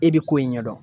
E bi ko in ɲɛ dɔn